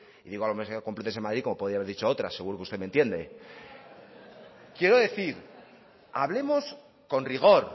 y digo la universidad de la complutense de madrid como podría haber dicho otra seguro que usted me entiende quiero decir hablemos con rigor